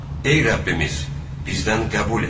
ey Rəbbimiz, bizdən qəbul et.